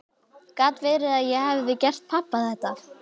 Gat verið að ég hefði gert pabba þetta?